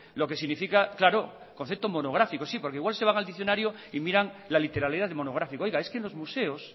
lo que significa claro concepto monográfico sí porque igual se van al diccionario y miran la literalidad de monográfico oiga es que en los museos